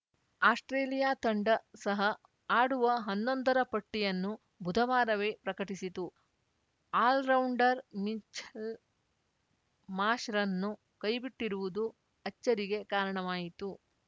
Australia ತಂಡ ಸಹ ಆಡುವ ಹನ್ನೊಂದರ ಪಟ್ಟಿಯನ್ನು ಬುಧವಾರವೇ ಪ್ರಕಟಿಸಿತು ಆಲ್ರೌಂಡರ್‌ ಮಿಚೆಲ್‌ ಮಾಷ್‌ರ್‍ರನ್ನು ಕೈಬಿಟ್ಟಿರುವುದು ಅಚ್ಚರಿಗೆ ಕಾರಣವಾಯಿತು